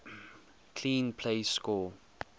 clean plays score